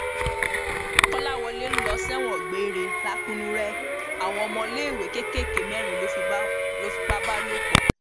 kọláwọlẹ ń lọ sẹwọn gbére lakunure àwọn ọmọléèwé kéékèèké mẹrin ló fipá bá lò pọ